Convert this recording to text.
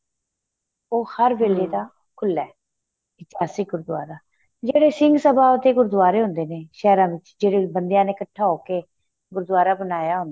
ਉਹ ਹਰ ਵੇਲੇ ਦਾ ਖੁੱਲਾ ਏ ਇਤਿਹਾਸਕ ਗੁਗੂਦਆਰਾ ਜਿਹੜੇ ਸਿੰਘ ਸਭਾਂ ਦੇ ਗੁਰੂਦੁਆਰੇ ਹੁੰਦੇ ਨੇ ਸਹਿਰਾ ਵਿੱਚ ਜਿਹੜੇ ਬੰਦਿਆਂ ਨੇ ਇੱਕਠਾ ਹੋਕੇ ਗੁਰੂਦੁਆਰਾ ਬਣਾਇਆ ਹੁੰਦਾ ਏ